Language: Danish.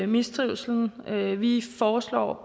mistrivslen vi vi foreslår